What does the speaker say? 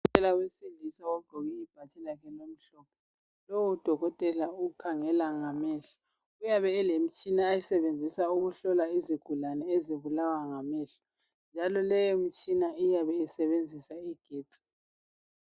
Udokotela wesilisa ogqoke ibhatshi lakhe elimhlophe. Lowo dokotela ukhangela ngamehlo. Uyabe elemtshina ayisebenzisa ukuhlola izigulane ezibulawa ngamehlo njalo leyo mtshina iyabe isebenzisa igetsi.